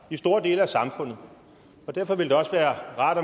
i store dele af samfundet derfor ville det også være rart